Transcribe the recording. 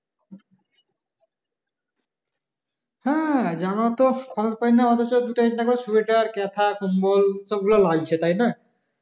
হ্যাঁ যানও তো সময় পাই না অতছ দুটোই দেখবা শুয়েটার কেথা কম্বল সব গুলা লাগছে তাই না